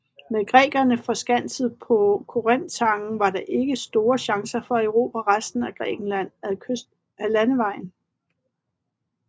Med grækerne forskanset på Korinthtangen var der ikke store chancer for at erobre resten af Grækenland ad landvejen